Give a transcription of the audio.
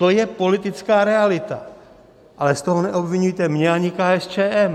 To je politická realita, ale z toho neobviňujte mě ani KSČM.